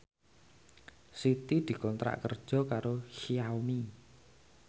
Siti dikontrak kerja karo Xiaomi